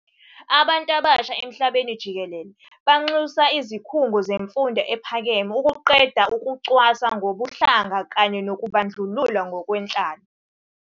Abantu abasha emhlabeni jikelele banxusa izikhungo zemfundo ephakeme ukuqeda ukucwasa ngokobuhlanga kanye nokubandlulula ngokwenhlalo.